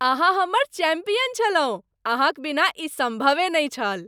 अहाँ हमर चैंपियन छलहुँ! अहाँक बिना ई सम्भवे नहि छल।